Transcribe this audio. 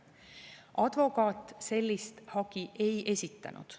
Advokaat sellist hagi ei esitanud.